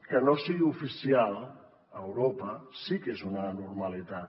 que no sigui oficial a europa sí que és una anormalitat